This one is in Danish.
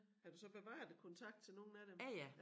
Har du så bevaret æ kontakt til nogen af dem?